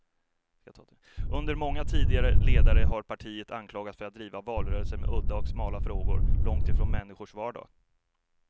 Under dess många tidigare ledare har partiet anklagats för att driva valrörelser med udda och smala frågor, långt från människors vardag.